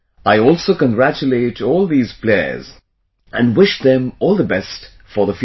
I also congratulate all these players and wish them all the best for the future